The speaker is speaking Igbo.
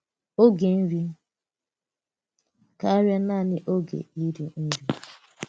Ògé nri kárịà naanị ògé íri nri!